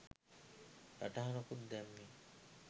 සටහනකුත් දැම්මේ .